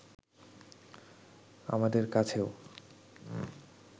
আমাদের কাছেও